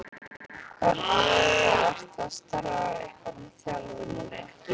Hvernig er það, ertu að starfa eitthvað með þjálfuninni?